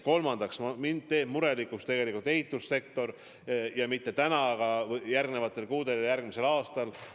Kolmandaks, mind teeb murelikuks tegelikult ehitussektor ja mitte täna, vaid järgmistel kuudel ja järgmisel aastal.